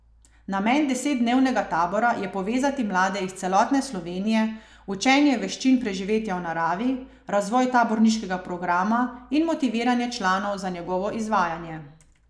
Namen desetdnevnega tabora je povezati mlade iz celotne Slovenije, učenje veščin preživetja v naravi, razvoj taborniškega programa in motiviranje članov za njegovo izvajanje.